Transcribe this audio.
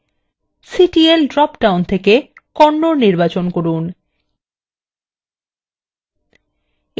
ctl drop down থেকে kannada নির্বাচন করুন